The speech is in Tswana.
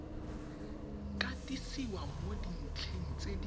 katisiwa mo dintlheng tse di